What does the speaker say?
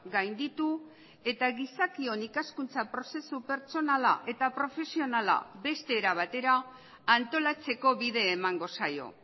gainditu eta gizakion ikaskuntza prozesu pertsonala eta profesionala beste era batera antolatzeko bide emango zaio